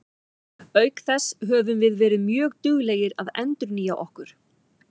Auk þess höfum við verið mjög duglegir að endurnýja okkur.